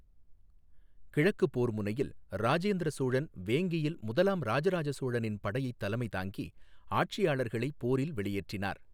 கிழக்குப் போர்முனையில், ராஜேந்திர சோழன் வேங்கியில் முதலாம் ராஜராஜ சோழனின் படையைத் தலைமை தாங்கி, ஆட்சியாளர்களை போரில் வெளியேற்றினார்.